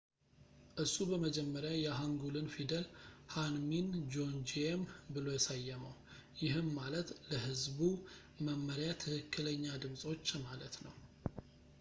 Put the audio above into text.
እሱ በመጀመሪያ የሃንጉልን ፊደል ሐንሚን ጆንጂዬም ብሎ ሰየመው ይህም ማለት ለሕዝቡ መመሪያ ትክክለኛ ድምጾች ማለት ነው